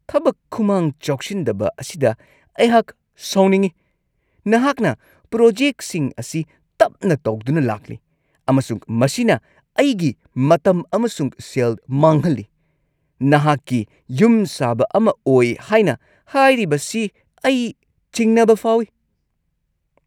ꯊꯕꯛ ꯈꯨꯃꯥꯡ ꯆꯥꯎꯁꯤꯟꯗꯕ ꯑꯁꯤꯗ ꯑꯩꯍꯥꯛ ꯁꯥꯎꯅꯤꯡꯉꯤ꯫ ꯅꯍꯥꯛꯅ ꯄ꯭ꯔꯣꯖꯦꯛꯁꯤꯡ ꯑꯁꯤ ꯇꯞꯅ ꯇꯧꯗꯨꯅ ꯂꯥꯛꯂꯤ ꯑꯃꯁꯨꯡ ꯃꯁꯤꯅ ꯑꯩꯒꯤ ꯃꯇꯝ ꯑꯃꯁꯨꯡ ꯁꯦꯜ ꯃꯥꯡꯍꯜꯂꯤ; ꯅꯍꯥꯛꯀꯤ ꯌꯨꯝꯁꯥꯕ ꯑꯃ ꯑꯣꯏ ꯍꯥꯏꯅ ꯍꯥꯏꯔꯤꯕꯁꯤ ꯑꯩ ꯆꯤꯡꯅꯕ ꯐꯥꯎꯏ꯫